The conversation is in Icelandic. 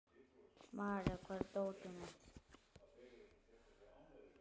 Marja, hvar er dótið mitt?